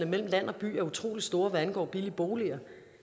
mellem land og by er utrolig store hvad angår billige boliger